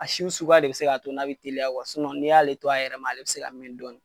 Asiw suguya de be se k'a to n'a be teliya kuwa sinɔn n'i y'ale to a yɛrɛ ma ale be se ka min dɔnin